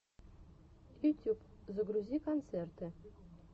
ютюб загрузи концерты